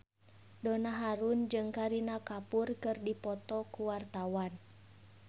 Donna Harun jeung Kareena Kapoor keur dipoto ku wartawan